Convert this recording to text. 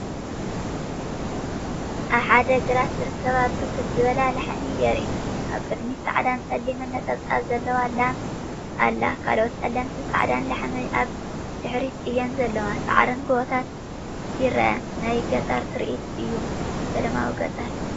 ኣብ ሓደ ግራት ዝርከባ ብርክት ዝበላ ላሕሚ የርኢ። ኣብ ቅድሚት ጻዕዳን ጸሊምን ነጠብጣብ ዘለዋ ላም ኣላ። ካልኦት ጸለምትን ጻዕዳን ላሕሚ ኣብ ድሕሪት እየን ዘለዋ። ሳዕርን ጎቦታትን ይርአ። ናይ ገጠር ትርኢት እዩ። ሰላማዊ ገጠር!